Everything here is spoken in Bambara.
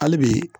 Hali bi